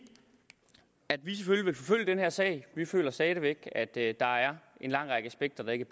at vi selvfølgelig vil forfølge den her sag vi føler stadig væk at der er en lang række aspekter der ikke